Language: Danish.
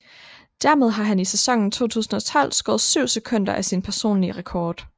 Dermed har han i sæsonen 2012 skåret 7 sekunder af sin personlige rekord